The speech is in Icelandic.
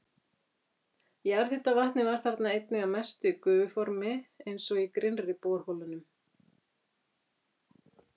Jarðhitavatnið var þarna einnig að mestu í gufuformi eins og í grynnri borholunum.